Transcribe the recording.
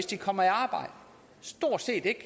de kommer i arbejde stort set ikke